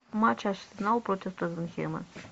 матч арсенал против тоттенхэма